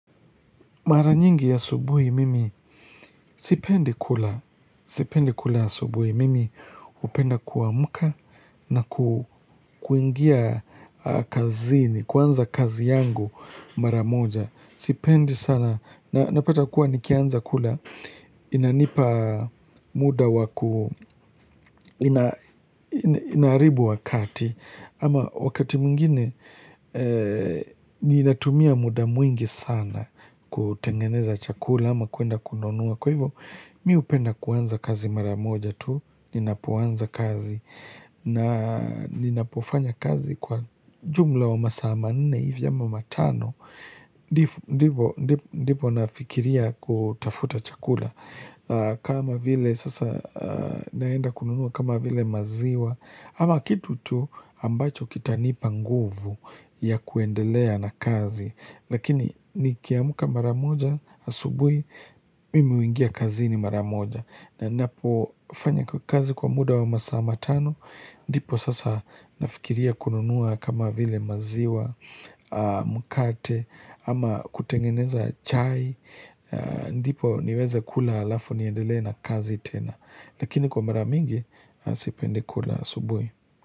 Mara nyingi ya subuhi mimi sipendi kula, sipendi kula asubuhi mimi hupenda kuamuka na kuingia kazini, kuanza kazi yangu mara moja. Sipendi sana na napata kuwa nikianza kula inanipa muda wakuu inaaribu wakati ama wakati mwingine ninatumia muda mwingi sana kutengeneza chakula ama kuenda kununua kwa hivyo mi upenda kuanza kazi maramoja tu ninapoanza kazi na ninapofanya kazi kwa jumla wa masaa manne hivi ama wa matano ndipo nafikiria kutafuta chakula kama vile sasa naenda kununua kama vile maziwa ama kitu tu ambacho kitanipa nguvu ya kuendelea na kazi Lakini nikiamuka maramoja asubui Mimi huingia kazini maramoja na napo fanya kwa kazi kwa muda wa masaa matano ndipo sasa nafikiria kununua kama vile maziwa mkate ama kutengeneza chai ndipo niweze kula alafu niendelee na kazi tena lakini kwa mara mingi sipendi kula subui.